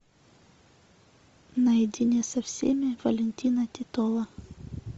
наедине со всеми валентина титова